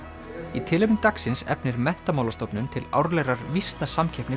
í tilefni dagsins efnir Menntamálastofnun til árlegrar